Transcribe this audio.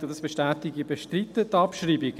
Ich bestätige: Ich bestreite die Abschreibung.